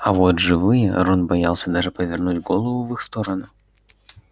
а вот живые рон боялся даже повернуть голову в их сторону